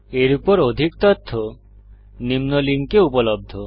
এর উপর অধিক তথ্য নিম্ন লিঙ্কে উপলব্ধ